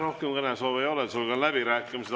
Rohkem kõnesoove ei ole, sulgen läbirääkimised.